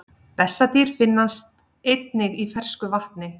Bessadýr finnast einnig í fersku vatni.